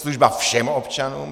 Služba všem občanům.